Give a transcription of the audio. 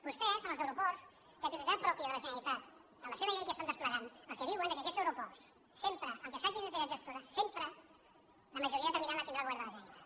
vostès amb els aeroports de titularitat pròpia de la generalitat en la seva llei que estan desplegant el que diuen és que aquests aeroports sempre encara que sigui una entitat gestora sempre la majoria determinant la tindrà el govern de la generalitat